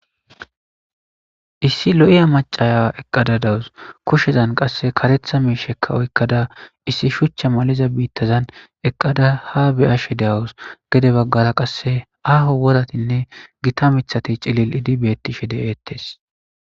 issi lo7iya macaya eqqada dawus kushezan qasse karetha miishekka oykkada issi shuchcha maliza biittazan eqqada ha beyashe de7awus gede baggara qasse aaho woratinne gita mithati cilil idi betti she de7ettes